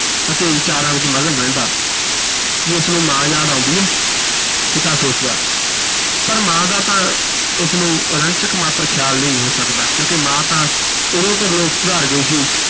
ਅਤੇ ਵਿਚਾਰਾਂ ਵਿਚ ਮਗਨ ਰਹਿੰਦਾ, ਕੀ ਇਸ ਨੂੰ ਮਾਂ ਯਾਦ ਆਉਂਦੀ ਹੈ, ਪਿਤਾ ਸੋਚਦਾ, ਪਰ ਮਾਂ ਦਾ ਤਾਂ ਇਸ ਨੂੰ ਰੰਚਕ ਮਾਤਰ ਖਿਆਲ ਨਹੀਂ ਹੋ ਸਕਦਾ ਕਿਉਂਕਿ ਮਾਂ ਤਾਂ ਉਦੋਂ ਪ੍ਰਲੋਕ ਸਿਧਾਰ ਗਈ ਸੀ